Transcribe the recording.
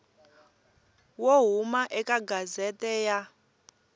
wo huma eka gazette ya